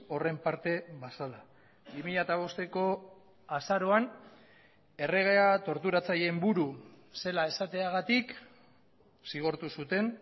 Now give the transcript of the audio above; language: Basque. horren parte bazela bi mila bosteko azaroan erregea torturatzaileen buru zela esateagatik zigortu zuten